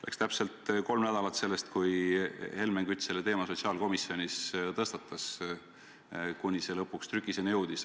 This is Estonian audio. Läks täpselt kolm nädalat sellest, kui Helmen Kütt selle teema sotsiaalkomisjonis tõstatas, alles siis lõpuks jõuti trükiseni.